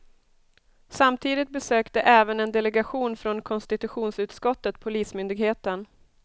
Samtidigt besökte även en delegation från konstitutionsutskottet polismyndigheten.